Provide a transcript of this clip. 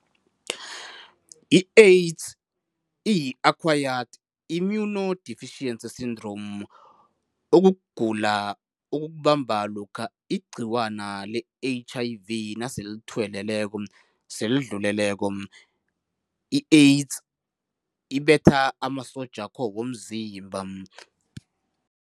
I-AIDS iyi-Acquired Immunodeficiency Syndrome okukugula okukubamba lokha igcikwana le-H_I_V naselithuweleleko, selidluleleko. I-AIDS ibetha amasotjakho womzimba.